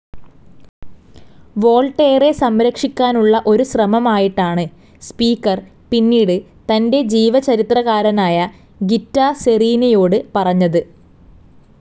വോൾട്ടേറെ സംരക്ഷിക്കാനുള്ള ഒരു ശ്രമമായിട്ടാണ് സ്പീക്കർ പിന്നീട് തൻ്റെ ജീവചരിത്രകാരനായ ഗിത്താർ സെറീനിയോട് പറഞ്ഞത്.